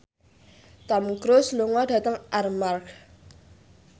Tom Cruise lunga dhateng Armargh